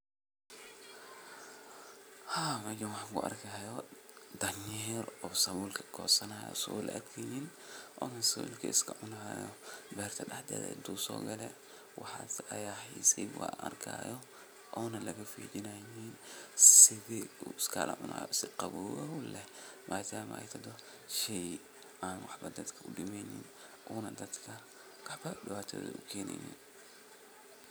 Meshan waxan kuarkihayo danyer o sawulka gosanihayoo asag o laarkeynin o sawulka cunayooo berta dahdetha intu sogaloo waxas aya xis an arkayo one lafijineynin sithu iskagacunayo si qawooow leh madama ey tahdo shey en waxbo dadka udimeynin ona dadka wax diwato ileneynin